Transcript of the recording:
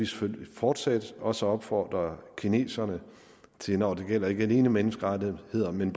selvfølgelig fortsat også opfordre kineserne til når det gælder ikke alene menneskerettighederne